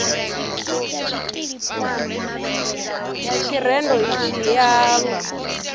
ya tshirendo itshi i amba